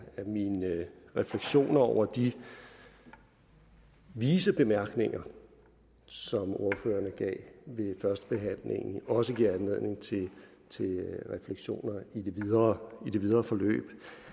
at mine refleksioner over de vise bemærkninger som ordførerne gav ved førstebehandlingen også giver anledning til refleksioner i det videre det videre forløb